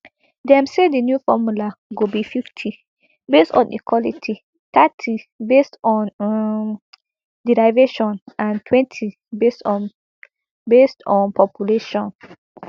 dem say di new formula go be fifty based on equality thirty based on um derivation and twenty based on based on population